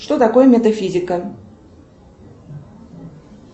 что такое метафизика